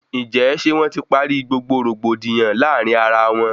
Ǹjẹ ṣe wọn ti parí gbogbo rògbòdìyàn láàrin ará wọn?